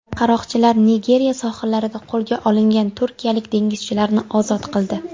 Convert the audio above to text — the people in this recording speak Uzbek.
Qaroqchilar Nigeriya sohillarida qo‘lga olingan turkiyalik dengizchilarni ozod qildi.